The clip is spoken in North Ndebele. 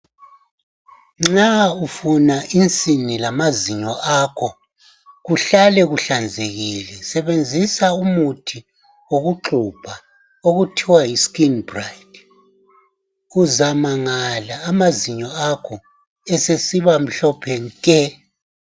Nxa ufuna insini lamazinyo akho kuhlale kuhlanzekile sebenzisa umuthi okuxhubha okuthiwa yiscreen bright uzamangala amazinyo akho esesiba mhlophe nke